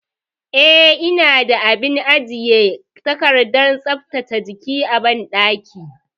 Eh, ina da abin ajiye takardar tsaftace jiki a banɗaki.